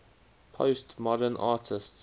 postmodern artists